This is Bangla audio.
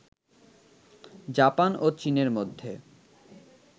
জাপান ও চীনের মধ্যে